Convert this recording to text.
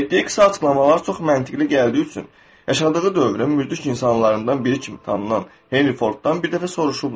Etdiyi qısa açıqlamalar çox məntiqki gəldiyi üçün yaşadığı dövrün mürdrik insanlarından biri kimi tanınan Henry Forddan bir dəfə soruşublar.